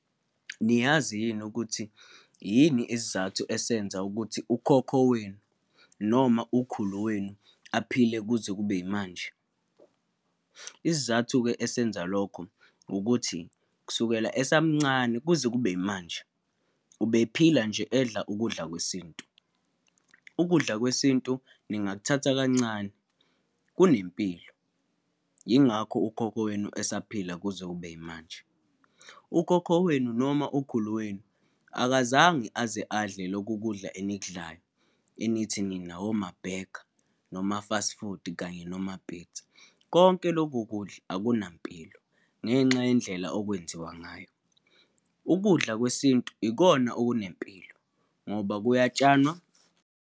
Niyazi yini ukuthi yini isizathu esenza ukuthi ukhokho wenu noma ukhulu wenu aphile kuze kube yimanje? Isizathu-ke esenza lokho, ukuthi kusukela esamncane kuze kube yimanje, ubephila nje edla ukudla kwesintu. Ukudla kwesintu ningakuthatha kancane, kunempilo, yingakho ukhokho wenu esaphila kuze kube yimanje. Ukhokho wenu noma okhulu wenu akazange aze adle loku kudla enikudlayo, enithi nina woma-burger, noma-fast food kanye noma-pizza. Konke loku kudla akunampilo, ngenxa yendlela okwenziwa ngayo. Ukudla kwesintu ikona okunempilo ngoba kuyatshanwa.